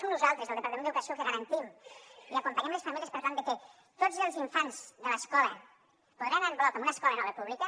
som nosaltres del departament d’educació que garantim i acompanyem les famílies per tal de que tots els infants de l’escola puguin anar en bloc a una escola nova pública